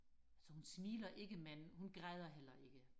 altså hun smiler ikke men hun græder heller ikke